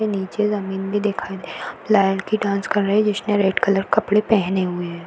नीचे जमीन भी दिखाई दे डांस कर रही जिसने रेड कलर कपड़े पहने हुए है।